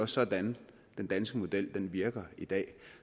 sådan den danske model virker i dag